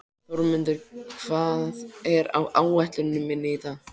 Þórmundur, hvað er á áætluninni minni í dag?